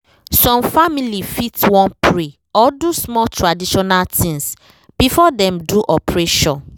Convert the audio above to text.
some family fit wan pray or do small traditional things before dem do operation